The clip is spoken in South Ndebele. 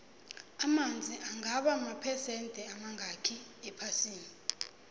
amanzi angaba maphesende amangakhi ephasini